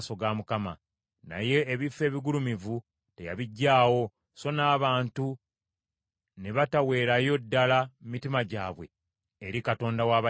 Naye ebifo ebigulumivu teyabiggyaawo, so n’abantu ne bataweerayo ddala mitima gyabwe eri Katonda wa bajjajjaabwe.